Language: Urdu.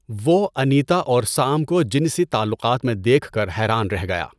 وہ انیتا اور سام کو جنسی تعلقات میں دیکھ کر حیران رہ گیا۔